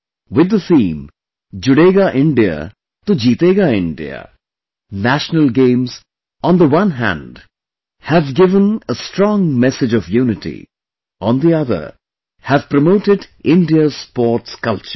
With the theme 'Judega India to Jeetega India', national game, on the one hand, have given a strong message of unity, on the other, have promoted India's sports culture